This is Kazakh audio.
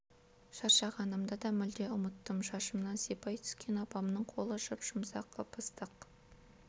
шаршағанымды да мүлде ұмыттым шашымнан сипай түскен апамның қолы жұп-жұмсақ ып-ыстық